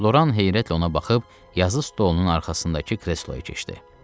Loran heyrətlə ona baxıb yazı stolunun arxasındakı kresloya keçdi.